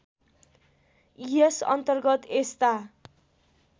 यस अन्तर्गत यस्ता